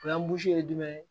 O y'an ye jumɛn ye